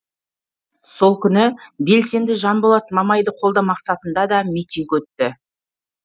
сол күні белсенді жанболат мамайды қолдау мақсатында да митинг өтті